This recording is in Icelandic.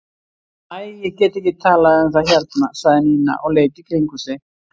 Æ, ég get ekki talað um það hérna sagði Nína og leit í kringum sig.